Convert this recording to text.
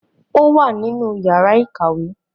ó wà nínú yàrá ìkàwé.